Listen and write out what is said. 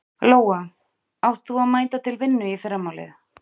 Lóa: Átt þú að mæta til vinnu í fyrramálið?